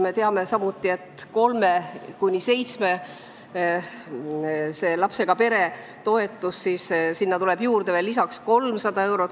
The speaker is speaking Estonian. Me teame, et kolme kuni seitsme lapsega perele tuleb juurde veel 300 eurot.